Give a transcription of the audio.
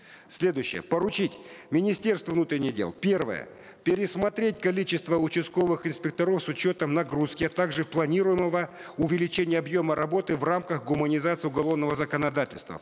следующее поручить министерству внутренних дел первое пересмотреть количество участковых инспекторов с учетом нагрузки а также планируемого увеличения объема работы в рамках гуманизации уголовного законодательства